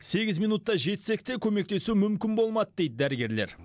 сегіз минутта жетсек те көмектесу мүмкін болмады дейді дәрігерлер